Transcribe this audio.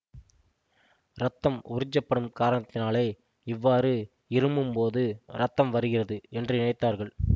இரத்தம் உறிஞ்சப்படும் காரணத்தாலே இவ்வாறு இருமும்போது இரத்தம் வருகிறது என்று நினைத்தார்கள்